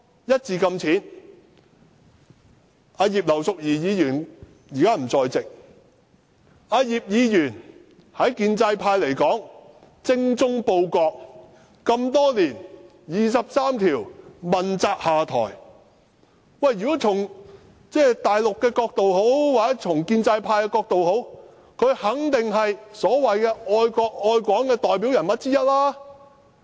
葉劉淑儀議員現時不在席，對建制派而言，葉議員精忠報國這麼多年，為"二十三條"問責下台，如果從大陸或建制派的角度來看，她肯定是愛國愛港的代表人物之一。